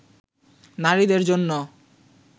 নারীদের জন্য